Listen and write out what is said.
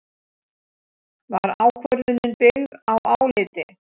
Var ákvörðunin byggð á áliti